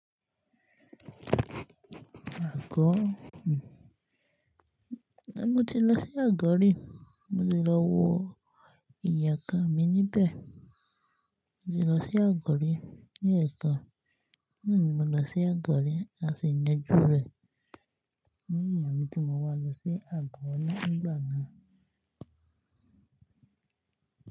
Àgọ́ hmmm. Mo ti lọ sí àgọ́ rí, mo ti lọ wo ìyekàn mi níbẹ̀. Mo ti lọ sí àgọ́ rí ní ekan, naa ni mo lọ sí àgọ́ rí a sì nàjú rẹ̀. Mo mọ̀ bí mo máa wà lọ sí àgọ́ ní ìgbà náà.